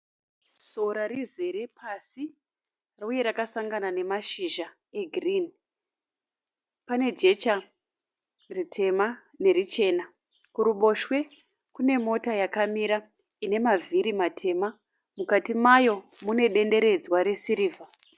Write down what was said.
Sora rizere pasi uye rakasangana nemashizha egirini . Pane jecha ritema nerichena . Kuruboshwe kune mota yakamira ine mavhiri matema mukati mayo mune denderedzwa resirivha.